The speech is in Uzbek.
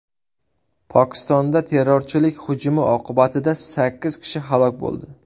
Pokistonda terrorchilik hujumi oqibatida sakkiz kishi halok bo‘ldi.